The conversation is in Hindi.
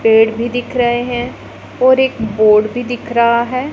पेड़ भी दिख रहे हैं और एक बोर्ड भी दिख रहा है।